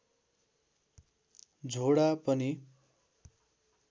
झोडा पनि